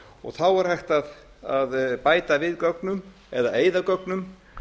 og þá er hægt að bæta við gögnum eða eyða gögnum